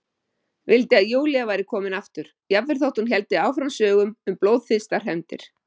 Vildi að Júlía væri komin aftur, jafnvel þótt hún héldi áfram sögum um blóðþyrstar hefndir.